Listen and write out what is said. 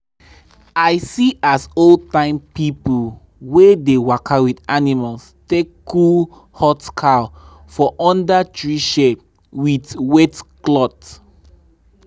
i see as old time people wey dey waka with animals take cool hot cow for under tree shade with wet cloth.